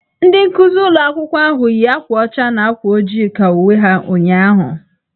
Ndị nkuzi ụlọ akwụkwọ ahụ yi akwa ọcha na akwa ojii ka uwe ha ụnyahụ.